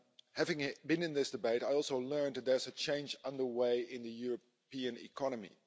Having been in this debate, I also learned that there's a change underway in the European economy.